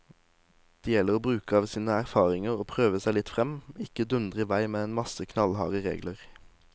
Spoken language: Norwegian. Det gjelder å bruke av sine erfaringer og prøve seg litt frem, ikke dundre i vei med en masse knallharde regler.